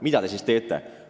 Mida te siis teete?